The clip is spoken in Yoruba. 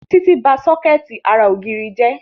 Títí ba sọ́kẹ̀tì ara ògiri jẹ́